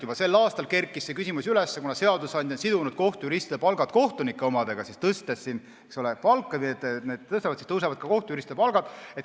Juba sel aastal kerkis see küsimus üles, kuna seadusandja on sidunud kohtujuristide palga kohtunike omaga ja kui tõsta kohtunike palka, siis tõuseb ka kohtujuristide palk.